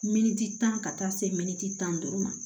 Miniti tan ka taa se tan duuru ma